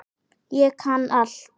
Ég kann allt!